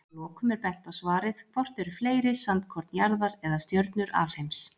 Að lokum er bent á svarið Hvort eru fleiri, sandkorn jarðar eða stjörnur alheims?